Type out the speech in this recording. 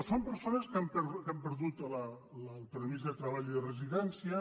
són persones que han perdut el permís de treball i de residència